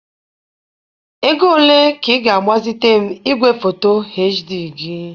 Ego ole ka ị ga-agbazite m igwefoto HD gị?